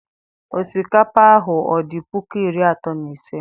osikapa ahu ọ di puku iri atọ na ise